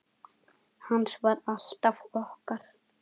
Hans var alltaf okkar.